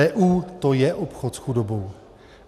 EU - to je obchod s chudobou.